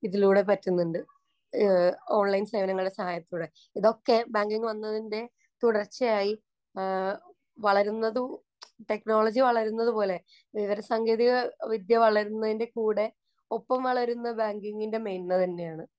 ഇതിലൂടെ പറ്റുന്നുണ്ട്. ഓണ്‍ലൈന്‍ സേവനങ്ങളുടെ സഹായത്തോടെ. ഇതൊക്കെ ബാങ്കിങ്ങ് വന്നതിന്‍റെ തുടര്‍ച്ചയായി വളരുന്നതും, ടെക്നോളജി വളരുന്നത് പോലെ. വിവരസാങ്കേതിക വിദ്യ വളരുന്നതിന്‍റെ കൂടെ ഒപ്പം വളരുന്ന ബാങ്കിങ്ങിന്‍റെ മേന്മ തന്നെയാണ്.